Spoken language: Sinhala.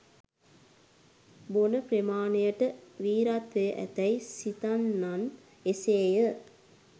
බොන ප්‍රමාණයට වීරත්වය ඇතැයි සිතන්නන් එසේය.